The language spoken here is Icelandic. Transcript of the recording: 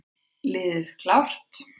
Liði klárt!